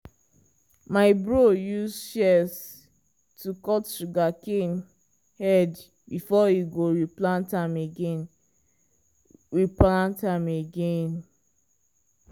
my bro use shears to cut sugarcane head before e go replant am again. replant am again.